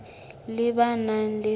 le ba nang le seabo